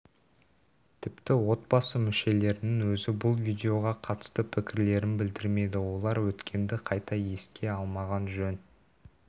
тіпті отбасы мүшелерінің өзі бұл видеоға қатысты пікірлерін білдірмеді олар өткенді қайта еске алмаған жөн